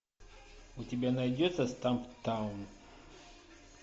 у тебя найдется стамптаун